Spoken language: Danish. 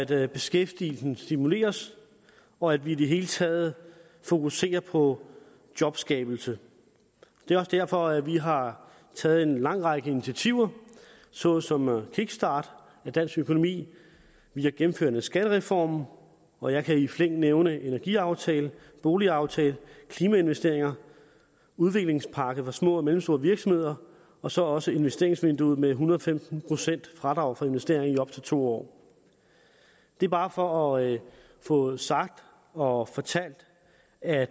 at beskæftigelsen stimuleres og at vi i det hele taget fokuserer på jobskabelse det er også derfor at vi har taget en lang række initiativer såsom en kickstart af dansk økonomi vi har gennemført en skattereform og jeg kan i flæng nævne energiaftale boligaftale klimainvesteringer udviklingspakke for små og mellemstore virksomheder og så også investeringsvinduet med en hundrede og femten procent i fradrag for investeringer i op til to år det er bare for at få sagt og fortalt at